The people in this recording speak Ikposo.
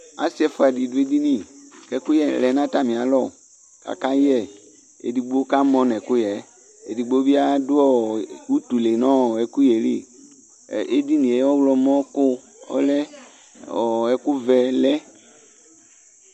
Asɩ ɛfʋa dɩ dʋ edini, kɛkʋyɛ lɛ natamɩalɔ, kaka yɛ, edigbo ka mɔ nɛkʋyɛ edigbo bɩ adʋ ɔ ivutuli nɛkʋyɛ li Edinie ,ɔɣlɔmɔko ɔlɛ ,ɔɔ ɛkʋ vɛ lɛ